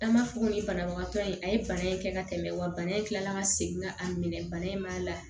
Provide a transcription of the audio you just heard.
An b'a fɔ ko nin banabagatɔ in a ye bana in kɛ ka tɛmɛ wa bana in tilala ka segin ka a minɛ bana in ma la